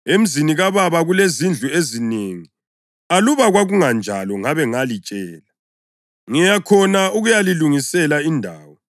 Emzini kaBaba kulezindlu ezinengi; aluba kwakungenjalo ngabe ngalitshela. Ngiya khona ukuyalilungisela indawo.